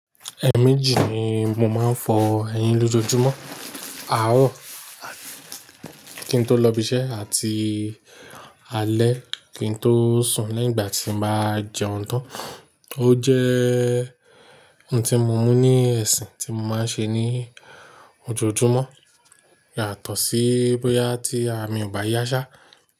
Ẹ mẹ́jì ni mo máa ń fọ ẹyin lójoojúmọ́, àárọ̀ kí n tó lọ ibiṣẹ́ àti alẹ́ kí n tó sùn leyin ígbà tí mo bá jẹun tán. Ó jẹ́ ohun tí mo mú ní ẹ̀sìn tí mo máa ń ṣe ní ojoojúmọ́ yàtọ̀ sí bóyá tí àrà mì ò ba yá ṣá.